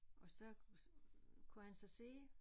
Og så kunne han så se